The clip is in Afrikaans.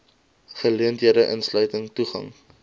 geleenthede insluitend toegang